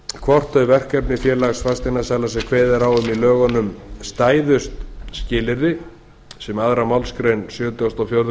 hvort þau verkefni félags fasteignasala sem kveðið var á um í lögunum stæðust skilyrði sem önnur málsgrein sjötugustu og fjórðu